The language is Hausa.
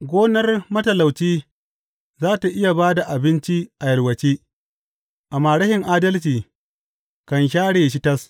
Gonar matalauci za tă iya ba da abinci a yalwace, amma rashin adalci kan share shi tas.